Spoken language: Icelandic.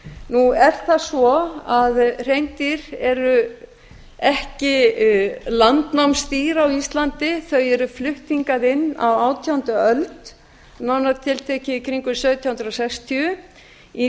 nú er það svo að hreindýr eru ekki landnámsdýr á íslandi þau eru flutt hingað inn á átjándu öld nánar tiltekið í kringum sautján hundruð sextíu í